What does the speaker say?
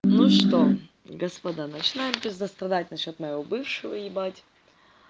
ну что господа начинаем пиздастрадать на счёт моего бывшего ебать